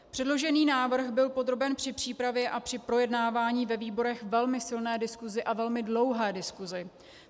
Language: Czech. Předložený návrh byl podroben při přípravě a při projednávání ve výborech velmi silné diskusi a velmi dlouhé diskusi.